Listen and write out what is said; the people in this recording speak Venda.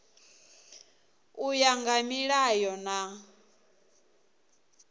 u ya nga milayo na